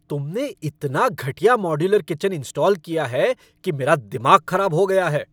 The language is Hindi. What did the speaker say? तुमने इतना घटिया मॉड्यूलर किचन इंस्टॉल किया है कि मेरा दिमाग खराब हो गया है।